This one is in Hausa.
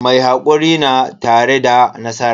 Mai hakuri na tare da nasara.